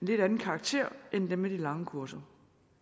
lidt anden karakter end dem med de lange kurser